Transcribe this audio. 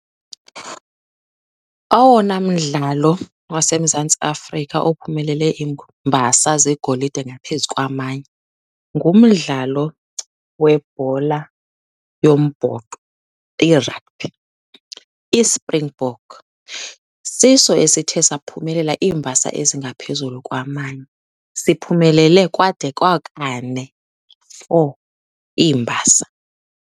Owona mdlalo waseMzantsi Afrika ophumelele iimbasa zegolide ngaphezu kwamanye ngumdlalo webhola yombhoxo, iragbhi. ISpringbok siso esithe saphumelela iimbasa ezingaphezulu kwamanye. Siphumelele kwade kwakane, four, iimbasa.